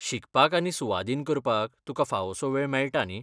शिकपाक आनी सुवादीन करपाक तुका फोवोसो वेळ मेळटा न्ही?